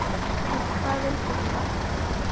En hvað veldur honum?